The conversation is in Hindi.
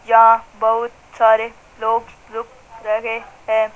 या बहुत सारे लोग रुक रहे हैं।